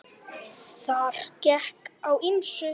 Þar gekk á ýmsu.